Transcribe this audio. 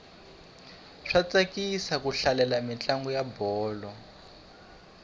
swa tsakisa ku hlalela mintlangu ya bolo